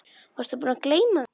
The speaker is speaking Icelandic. Varstu búinn að gleyma því?